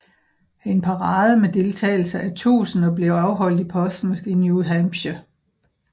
En parade med deltagelse af tusinder blev afholdt i Portsmouth i New Hampshire